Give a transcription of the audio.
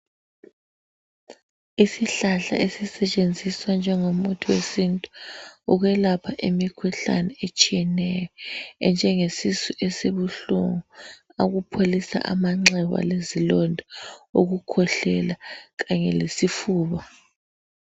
Isihlahla esisetshenziswa njengomuthi wesintu ukwelapha imikhuhlane etshiyeneyo enjenge sisu esibuhlungu umpholisa amanxeba lezilonda ukukhwehlela kanye lesifuba.